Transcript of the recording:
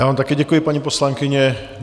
Já vám také děkuji, paní poslankyně.